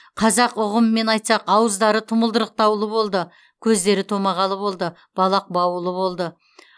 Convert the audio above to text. қазақ ұғымымен айтсақ ауыздары тұмылдырықтаулы болды көздері томағалы болды балақ баулы болды